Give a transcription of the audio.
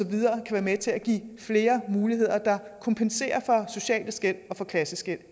være med til at give flere muligheder der kompenserer for sociale skel og for klasseskel